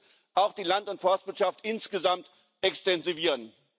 Nein, wir müssen auch die Land und Forstwirtschaft insgesamt extensivieren.